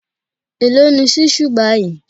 Èló ni ṣísù báyìí?